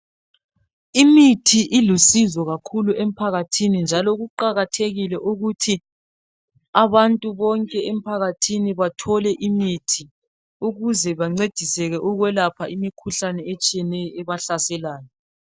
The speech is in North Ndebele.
Imithi ilusizo kakhulu emphakathini njalo kuqakathekile ukuthi abantu bonke empakathini bathole imithi ukuze bancediseke ukwelapha imikhuhlane etshiyrneyo ebahlaselayo.